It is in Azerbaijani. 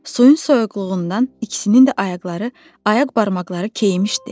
Suyun soyuqluğundan ikisinin də ayaqları, ayaq barmaqları keyimişdi.